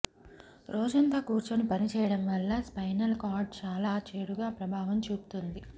రోజంతా కూర్చొని పనిచేయడం వల్ల స్పైనల్ కార్డ్ చాలా చెడుగా ప్రభావం చూపుతుంది